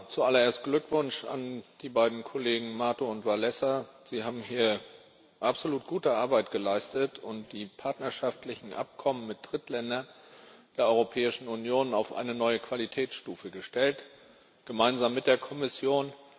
Zuallererst Glückwunsch an die beiden Kollegen Mato und Wałęsa. Sie haben hier absolut gute Arbeit geleistet und die partnerschaftlichen Abkommen mit Drittländern der Europäischen Union auf eine neue Qualitätsstufe gestellt gemeinsam mit der Kommission.